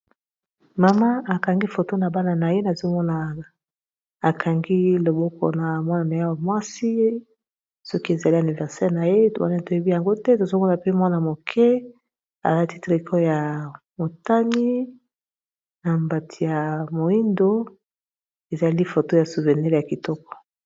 mama akangi foto na bana na ye nazomonaa akangi loboko na mwana na ya ya mwasi soki ezali aniversele na ye wana toyebi yango te tozomona pe mwana moke alatitre ecoe ya motani na mbati ya moindo ezali foto ya souvenile ya kitoko